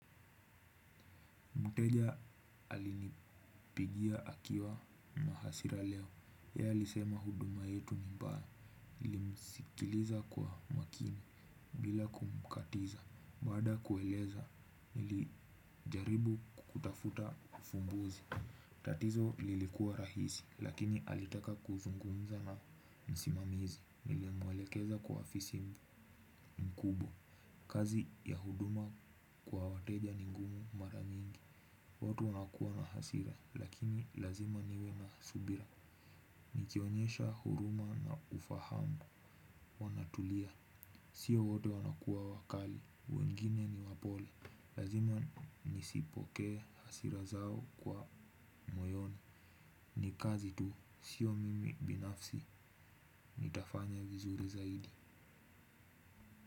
Mteja alinipigia akiwa na hasira leo. Yeye alisema huduma yetu ni mbaya. nilimsikiliza kwa makini bila kumkatiza. Baada ya kueleza nilijaribu kutafuta ufumbuzi. Tatizo lilikuwa rahisi. Lakini alitaka kuzungumza na msimamizi. Nilimwelekeza kwa afisi mkubwa. Kazi ya huduma kwa wateja ni ngumu maramingi. Watu wanakuwa na hasira, lakini lazima niwe na subira. Nikionyesha huruma na ufahamu, wanatulia. Sio wote wanakuwa wakali, wengine ni wapole. Lazima nisipokee hasira zao kwa moyoni. Ni kazi tu, sio mimi binafsi, nitafanya vizuri zaidi.